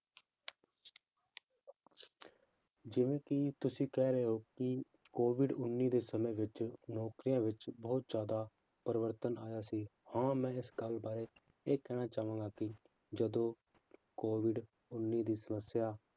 ਜਿਵੇਂ ਕਿ ਤੁਸੀਂ ਕਹਿ ਰਹੇ ਹੋ ਕਿ COVID ਉੱਨੀ ਦੇ ਸਮੇਂ ਵਿੱਚ ਨੌਕਰੀਆਂ ਵਿੱਚ ਬਹੁਤ ਜ਼ਿਆਦਾ ਪਰਿਵਰਤਨ ਆਇਆ ਸੀ, ਹਾਂ ਮੈਂ ਇਸ ਗੱਲ ਬਾਰੇ ਇਹ ਕਹਿਣਾ ਚਾਹਾਂਗਾ ਕਿ ਜਦੋਂ COVID ਉੱਨੀ ਦੀ ਸਮੱਸਿਆ